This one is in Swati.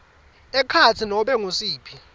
ekhatsi nobe ngusiphi